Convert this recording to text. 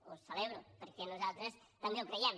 ho celebro perquè nosaltres també ho creiem